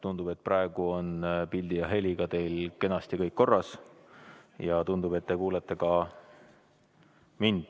Tundub, et praegu on pildi ja heliga teil kõik korras ja tundub, et te kuulete ka mind.